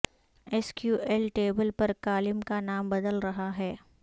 S Q L table پر column کا نام بدل رہا ہے